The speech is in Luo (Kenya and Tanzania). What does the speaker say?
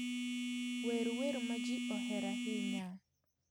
wer wer ma ji ohero ahinya